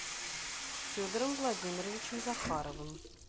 федором владимировичем захаровым